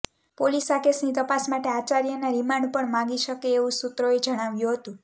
police આ કેસની તપાસ માટે આચાર્યના રિમાન્ડ પણ માંગી શકે એવું સૂત્રોએ જણાવ્યું હતું